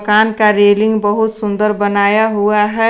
कान का रेलिंग बहुत सुंदर बनाया हुआ है।